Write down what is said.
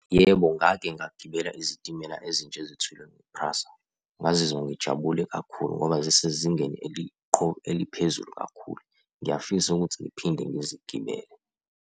Yebo, ngake ngagibela izitimela ezintsha ezethulwe ngu-Prasa. Ngazizwa ngijabule kakhulu ngoba zisezingeni eliphezulu kakhulu. Ngiyafisa ukuthi ngiphinde ngizigibele.